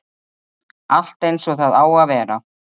Allt eins og það á að vera.